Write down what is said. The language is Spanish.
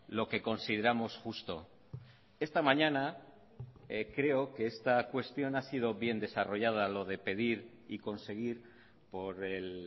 lo que consideramos justo esta mañana creo que esta cuestión ha sido bien desarrollada lo de pedir y conseguir por el